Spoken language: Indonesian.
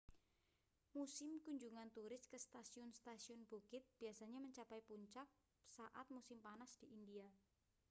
musim kunjungan turis ke stasiun-stasiun bukit biasanya mencapai puncak saat musim panas di india